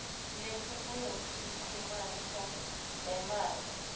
netiphumuti kunemaphutsa lamabi